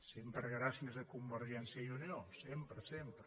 sempre gràcies a convergència i unió sempre sempre